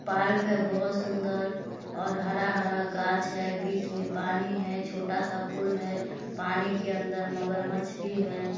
Park है बहुत सुंदर और हरा-हरा गाछ है बीच मे पानी है छोटा स पुल है पानी के अंदर मगरमच्छ भी है।